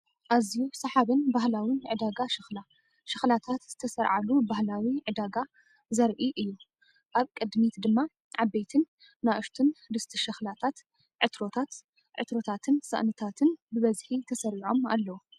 ኣዝዩ ሰሓብን ባህላውን ዕዳጋ ሸኽላ! ሸኽላታት ዝተሰርዓሉ ባህላዊ ዕዳጋ ዘርኢ እዩ። ኣብ ቅድሚት ድማ ዓበይትን ንኣሽቱን ድስቲ ሸኽላታት፡ ዕትሮታት፡ ዕትሮታትን ሳእንታትን ብብዝሒ ተሰሪዖም ኣለዉ።